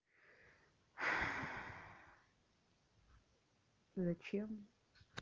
зачем